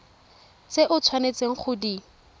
tse o tshwanetseng go di